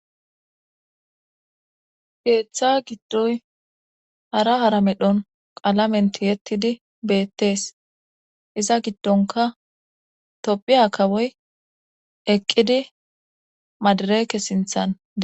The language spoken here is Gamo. geeththa giddoy hara hara medhon qalamenti yettidi beettees iza giddonka tophiya kawoy eqqidi madareke sinthan